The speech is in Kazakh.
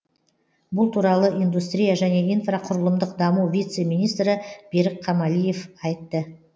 бұл туралы индустрия және инфрақұрылымдық даму вице министрі берік қамалиев айтты